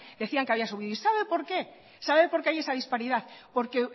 decían que había subido y sabe por qué sabe por qué hay esa disparidad porque